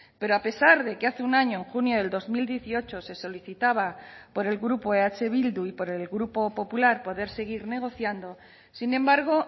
pero a pesar de que hace un año en junio del dos mil dieciocho se solicitaba por el grupo eh bildu y por el grupo popular poder seguir negociando sin embargo